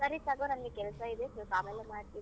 ಸರಿ ತಗೋ ನಂಗೆ ಕೆಲ್ಸ ಇದೆ ಸ್ವಲ್ಪ ಆಮೇಲೆ ಮಾಡ್ತೀನಿ.